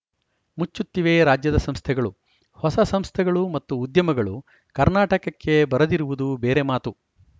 ಮುಚ್ಚುತ್ತಿವೆ ರಾಜ್ಯದ ಸಂಸ್ಥೆಗಳು ಹೊಸ ಸಂಸ್ಥೆಗಳು ಮತ್ತು ಉದ್ಯಮಗಳು ಕರ್ನಾಟಕಕ್ಕೆ ಬರದಿರುವುದು ಬೇರೆ ಮಾತು